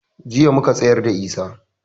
Jiya muka tsayarda da Isah